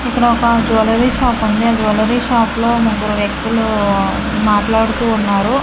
ఇక్కడ ఒక jewellery shop ఉంది ఆ జువెలరీ షాప్ లో ముగ్గురు వ్యక్తులు మాట్లాడుతూ ఉన్నారు.